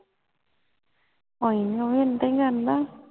ਹਾਂ ਏਵੀ ਏਦਾਂ ਹੀ ਕਰਦਾ ਵਾ